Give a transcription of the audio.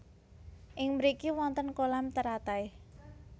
Ing mriki wonten kolam teratai